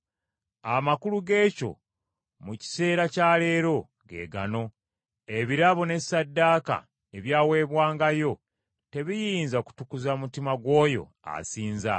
Amakulu geekyo mu kiseera kya leero, ge gano: ebirabo ne Ssaddaaka ebyaweebwangayo tebiyinza kutukuza mutima gw’oyo asinza.